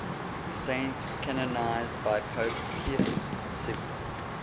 saints canonized by pope pius xi